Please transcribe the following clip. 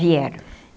Vieram.